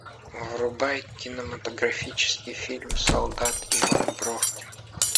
врубай кинематографический фильм солдат иван бровкин